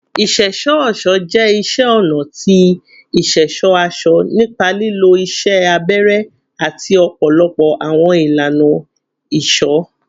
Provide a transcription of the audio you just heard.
Iṣẹṣọ-ọṣọ jẹ iṣẹ ọna ti iṣẹṣọ aṣọ nipa lilo iṣẹ abẹrẹ ati ọpọlọpọ awọn ilana isọ